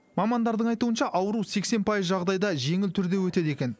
мамандардың айтуынша ауру сексен пайыз жағдайда жеңіл түрде өтеді екен